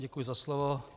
Děkuji za slovo.